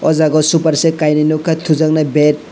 o jaga o super set kainui nukha thujaknai bed.